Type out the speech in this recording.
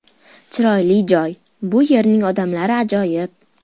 Chiroyli joy, bu yerning odamlari ajoyib.